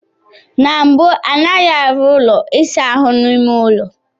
Na mbụ, anaghị arụ ụlọ ịsa ahụ n'ime ụlọ.